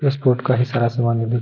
sports का ही सारा समान --